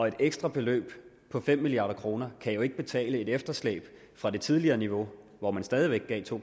et ekstra beløb på fem milliard kroner kan jo ikke betale et efterslæb fra det tidligere niveau hvor man stadig væk gav to